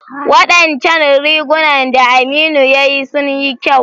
Wadancan rigunan da Aminu ya yi sun yi kyau.